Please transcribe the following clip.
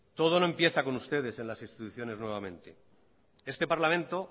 todo no empieza con ustedes en las instituciones nuevamente este parlamento